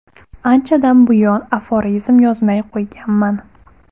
Anchadan buyon aforizm yozmay qo‘yganman.